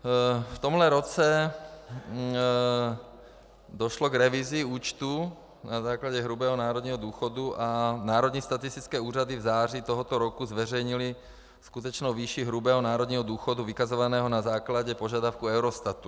V tomto roce došlo k revizi účtů na základě hrubého národního důchodu a národní statistické úřady v září tohoto roku zveřejnily skutečnou výši hrubého národního důchodu vykazovaného na základě požadavků Eurostatu.